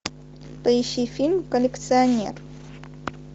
поищи фильм коллекционер